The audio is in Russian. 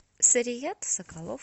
сарият соколов